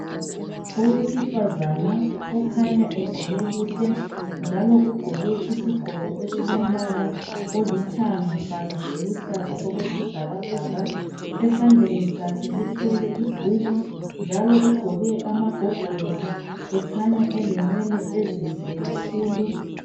Owesifazana okhanya egqoke kuhle, njalo ugqoke isigqoko esilombala olithanga kanye loluhlaza okwesibhakabhaka, esandleni sakhe uthwele ibhuku njalo ugqoke amagogolosi ekhanya elenwele ezinhle kakhulu.